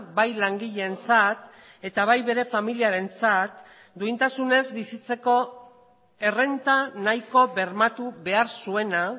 bai langileentzat eta bai bere familiarentzat duintasunez bizitzeko errenta nahiko bermatu behar zuena